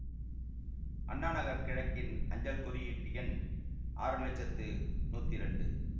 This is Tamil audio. அண்ணா நகர் கிழக்கின் அஞ்சல் குறியீட்டு எண் ஆறு லட்சத்து நூத்தி இரண்டு